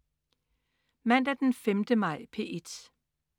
Mandag den 5. maj - P1: